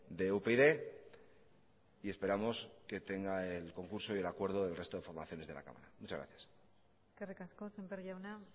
de upyd y esperamos que tenga el concurso y el acuerdo del resto de formaciones de la cámara muchas gracias eskerrik asko sémper jauna